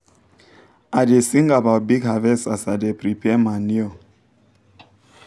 i da sing about big harvest as i da prepare manure